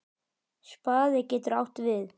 Spaði getur átt við